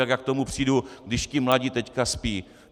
Jak já k tomu přijdu, když ti mladí teďka spí?